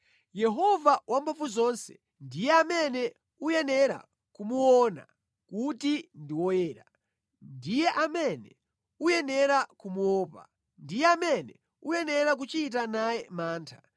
Yehova Wamphamvuzonse ndiye amene uyenera kumuona kuti ndi woyera, ndiye amene uyenera kumuopa, ndiye amene uyenera kuchita naye mantha,